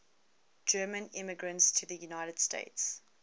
german immigrants to the united states